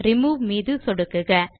remove மீது சொடுக்குக